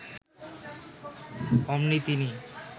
অমনি তিনি